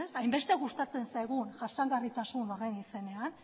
hainbeste gustatzen zaigun jasangarritasun horren izenean